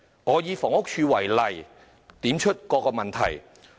我想以房屋署為例，點出各個問題。